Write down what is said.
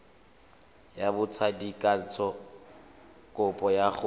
ya botsadikatsho kopo ya go